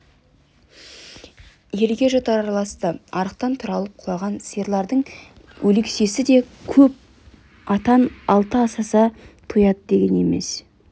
елге жұт араласты арықтан тұралап құлаған сиырлардың өлексесі де көп атан алты асаса тояды деген емес